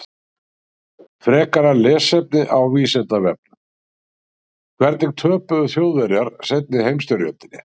Frekara lesefni á Vísindavefnum: Hvernig töpuðu Þjóðverjar seinni heimsstyrjöldinni?